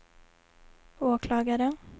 åklagaren